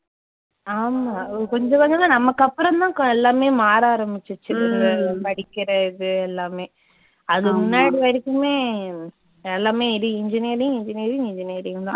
ஆமா அஹ் கொஞ்சம் கொஞ்சமா நமக்கு அப்புறம் தான் க எல்லாமே மாற ஆரம்பிச்சுச்சு படிக்கிற இது எல்லாமே அதுக்கு முன்னாடி வரைக்குமே engineering, engineering, engineering தான்